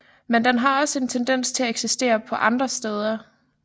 Men den har også en tendens til at eksistere på andre steder